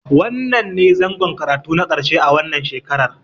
Wannnan ne zangon karatu na ƙarshe a wannan shekarar.